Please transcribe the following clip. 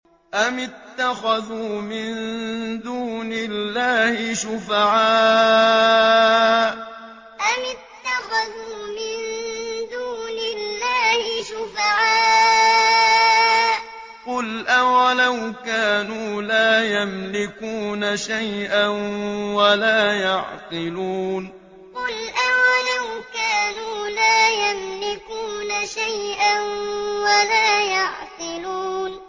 أَمِ اتَّخَذُوا مِن دُونِ اللَّهِ شُفَعَاءَ ۚ قُلْ أَوَلَوْ كَانُوا لَا يَمْلِكُونَ شَيْئًا وَلَا يَعْقِلُونَ أَمِ اتَّخَذُوا مِن دُونِ اللَّهِ شُفَعَاءَ ۚ قُلْ أَوَلَوْ كَانُوا لَا يَمْلِكُونَ شَيْئًا وَلَا يَعْقِلُونَ